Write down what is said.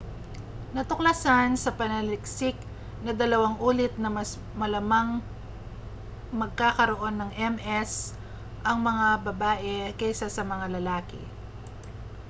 natuklasan sa pananaliksik na dalawang ulit na mas malamang magkakaroon ng ms ang mga babae kaysa sa mga lalaki